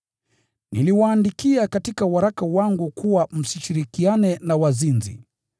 Niliwaandikia katika waraka wangu kuwa msishirikiane na wazinzi.